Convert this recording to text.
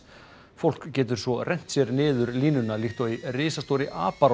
fólk getur svo rennt sér niður línuna líkt og í risastórri